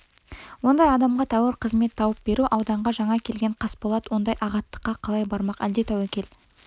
ондай адамға тәуір қызмет тауып беру ауданға жаңа келген қасболат ондай ағаттыққа қалай бармақ әлде тәуекел